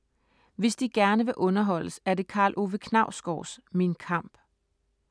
Hvis de gerne vil underholdes er det Karl Ove Knausgårds Min kamp.